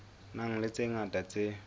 nang le tse ngata tse